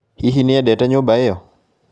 Hihi nĩ endete nyũmba ĩyo?